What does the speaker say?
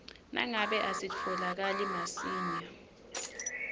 nangabe asitfolakali masinyane